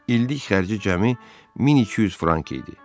İllik xərci cəmi 1200 frank idi.